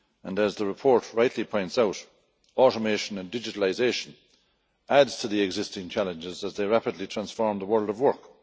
As the report rightly points out, automation and digitalisation add to the existing challenges as they rapidly transform the world of work.